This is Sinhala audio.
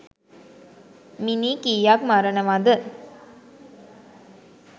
මිනී කියක් මරණවද